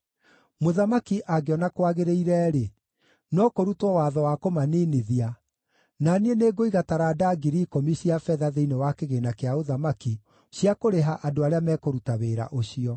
Mũthamaki angĩona kwagĩrĩire-rĩ, no kũrutwo watho wa kũmaniinithia, na niĩ nĩngũiga taranda 10,000 cia betha thĩinĩ wa kĩgĩĩna kĩa ũthamaki cia kũrĩha andũ arĩa mekũruta wĩra ũcio.”